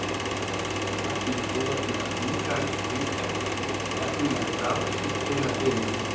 Magnús: Þú er með ungan efnilegan strák sem spilar fyrir þig?